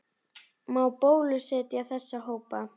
Má bólusetja þessa hópa?